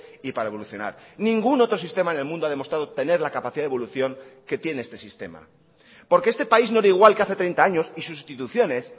y para evolucionar ningún otro sistema en el mundo ha demostrado tener la capacidad de evolución que tiene este sistema porque este país no era igual que hace treinta años y sus instituciones